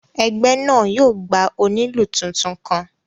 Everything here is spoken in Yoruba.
Ẹgbẹ náà yóò gba onílù tuntun kàn